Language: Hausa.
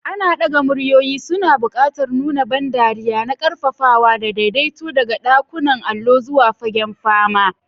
Ana ɗaga muryoyi, suna buƙatar nuna ban dariya na ƙarfafawa da daidaito daga ɗakunan allo zuwa fagen fama.